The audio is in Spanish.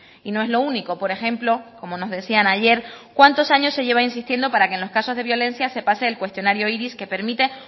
y no es lo único por ejemplo como nos decían ayer cuántos años se lleva insistiendo para que en los casos de violencia se pase el cuestionario iris que permite